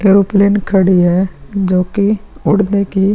aeroplane खड़ी है जो कि उड़ने की --